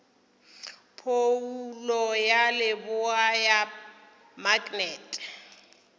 phoulo ya leboa ya maknete